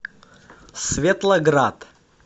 светлоград